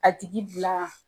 A tigi bila.